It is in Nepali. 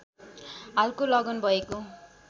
हालको लगन भएको